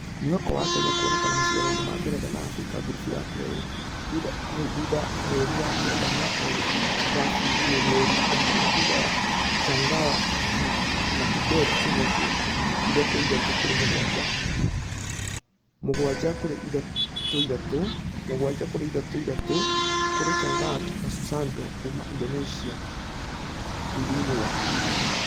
Mwĩhoka wa akenya kuonekana mashidano ma ngeretha na africa gurubu ya kerĩ hqu thutha mweri wa kenda mwaka ũyũ ũrabunjirwo mweri wa gatatũ thutha wa changawa na kibet kũhotwo ithathatũ kũrĩ mũgwaja , mũgwaja kũrĩ ithathatũ , mũgwaja kũrĩ ithathatũ kũrĩ rungkat na susanto kuuma indonesia hlthĩinĩ wa .....